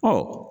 Ɔ